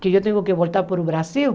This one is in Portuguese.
que eu tenho que voltar para o Brasil.